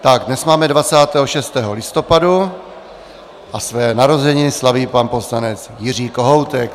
Dnes máme 26. listopadu a své narozeniny slaví pan poslanec Jiří Kohoutek.